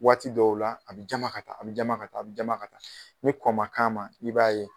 Waati dɔw la a bɛ jama ka taa a bɛ jama ka taa a bɛ jama ka taa ni kɔn ma k'a ma i b'a ye